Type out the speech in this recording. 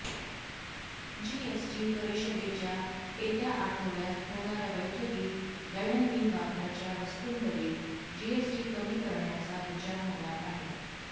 GST परिषदेच्या येत्या आठवड्यात होणाऱ्या बैठकीत दैनंदिन वापराच्या वस्तूंवरील जीएसटी कमी करण्याचा विचार होणार आहे